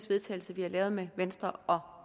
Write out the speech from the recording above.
vedtagelse vi har lavet med venstre og